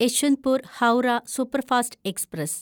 Yesvantpur Howrah superfast express